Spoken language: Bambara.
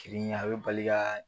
Kelenya a bi bali ka